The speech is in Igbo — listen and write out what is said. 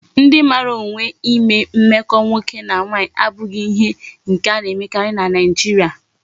Ndi mara onwe ime mmeko nwoke na nwanyi abughi ihe nke a na emekari na Nigeria